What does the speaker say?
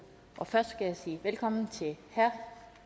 og først skal jeg sige velkommen til herre